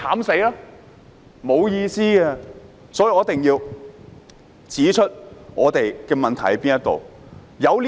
所以，我一定要指出我們的問題是甚麼。